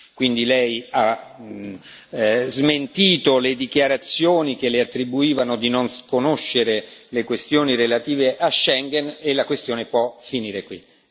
Quindi Lei ha smentito le dichiarazioni che Le attribuivano di non conoscere le questioni relative a Schengen e la questione può finire qui.